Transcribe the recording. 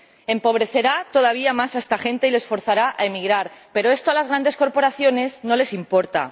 Empobrecerá todavía más a esta gente y la forzará a emigrar, pero esto a las grandes corporaciones no les importa.